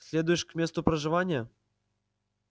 следуешь к месту проживания